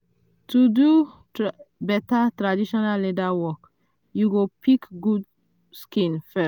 to do better traditional leather work you go pick um good skin first.